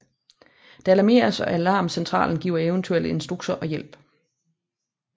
Der alarmeres og alarmcentralen giver eventuelle instruktioner og hjælp